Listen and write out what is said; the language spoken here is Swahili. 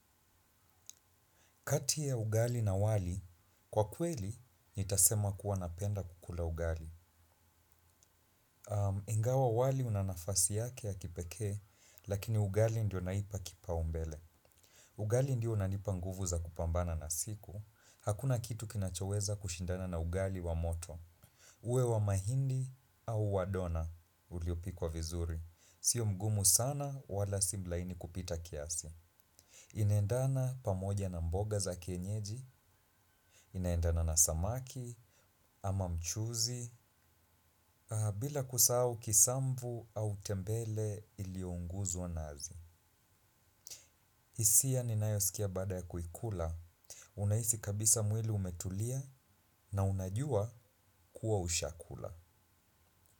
Kati ya ugali na wali, kwa kweli, nitasema kuwa napenda kukula ugali. Ingawa wali unanafasi yake ya kipekee, lakini ugali ndio naipa kipa umbele. Ugali ndio unanipa nguvu za kupambana na siku. Hakuna kitu kinachoweza kushindana na ugali wa moto. Uwe wa mahindi au wa dona, uliopikwa vizuri. Sio mgumu sana, wala simlaini kupita kiasi. Inendana pamoja na mboga za kenyeji, inendana na samaki, ama mchuzi, bila kusau kisambu au tembele ilionguzwa nazi. Isia ninayosikia bada ya kuikula, unahisi kabisa mwili umetulia na unajua kuwa ushakula.